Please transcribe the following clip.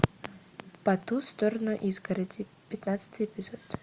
по ту сторону изгороди пятнадцатый эпизод